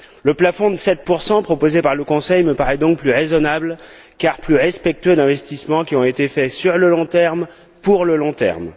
Le plafond de 7 proposé par le Conseil me paraît donc plus raisonnable car plus respectueux d'investissements qui ont été faits sur le long terme, pour le long terme.